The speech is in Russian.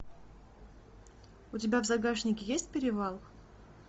у тебя в загашнике есть перевал